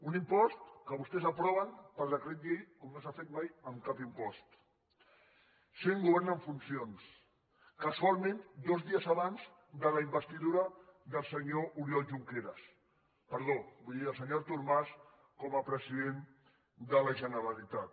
un impost que vostès aproven per decret llei com no s’ha fet mai amb cap impost sent govern en funcions casualment dos dies abans de la investidura del senyor artur mas com a president de la generalitat